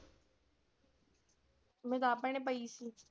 ਮੈਂ ਤਾਂ ਆਪ ਭੈਣੇ ਪਈ ਸੀ।